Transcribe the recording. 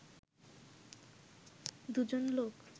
দুজন লোক